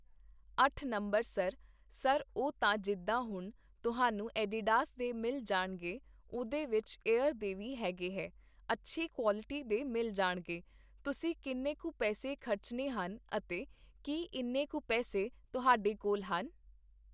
ਅੱਠ number sir, sir ਉਹ ਤਾਂ ਜਿੱਦਾਂ ਹੁਣ ਤੁਹਾਨੂੰ ਐਡੀਡਾਸ ਦੇ ਮਿਲ ਜਾਣਗੇ ਉਹਦੇ ਵਿੱਚ ਏਅਰ ਦੇ ਵੀ ਹੈਗੇ ਹੈ, ਅੱਛੀ ਕੋਆਲਟੀ ਦੇ ਮਿਲ ਜਾਣਗੇ, ਤੁਸੀਂ ਕਿੰਨੇ ਕੁ ਪੈਸੇ ਖ਼ਰਚਨੇ ਹਨ ਅਤੇ ਕੀ ਇੰਨੇ ਕੁ ਪੇੈਸੇ ਤੁਹਾਡੇ ਕੋਲ ਹਨ?